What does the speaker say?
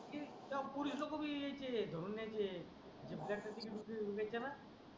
हे तेव्हा पोलीस लोकं बी यायचे धरून न्यायचे जास्त तिकीट मिळतं ना